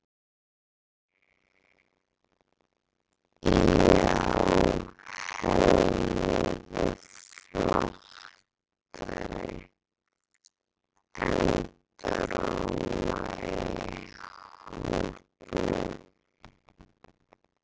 Já, helmingi flottari, endurómaði í hópnum.